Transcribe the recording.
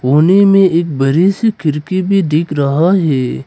कोने में एक बड़े से खिड़की भी दिख रहा है।